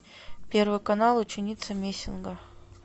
первый канал ученица мессинга